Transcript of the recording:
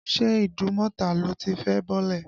Ṣé Ìdúnmọ̀tà lo ti fẹ́ bọ́lẹ̀?.